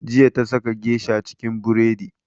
Jiya ta saka geisha cikin buredi